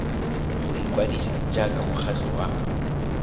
go ikwadisa jaaka mokgatlho wa